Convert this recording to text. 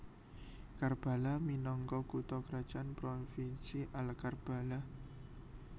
Karbala minangka kutha krajan Provinsi Al Karbala